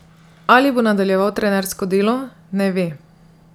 Ali bo nadaljeval trenersko delo, ne ve.